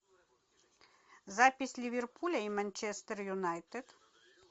запись ливерпуля и манчестер юнайтед